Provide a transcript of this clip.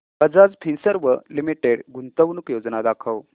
Bajaj Finserv limited गुंतवणूक योजना दाखव